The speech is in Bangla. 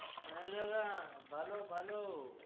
হ্যাঁ দাদা, ভালো ভালো।